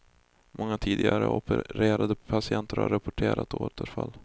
Många tidigare opererade patienter har rapporterat återfall.